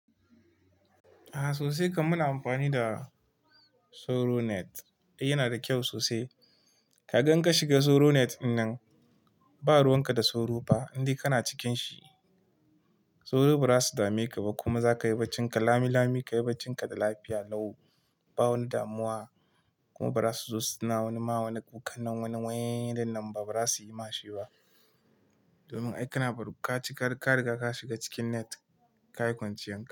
A'a sosai kam muna amfani da soro net. Yana da kyau sosai. Kagan in ka shiga soronet dinnan, ba ruwan ka da soro ba indai kana cikin shi. Soro ba za su dame ka ba kuma za ka yi bacci ka lami lami, ka yi bacci ka da lafiya, lau, ba wani damuwa kuma ba za su zo suna wani ma wani kukan nan wani waii dinnan ba, ba za su yi ma shi ba. Domin ai kana bar ka cika ka riga ka shiga cikin net, ka yi kwanciyan ka.